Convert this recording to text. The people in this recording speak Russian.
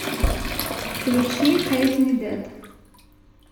включи хэйт ми дэд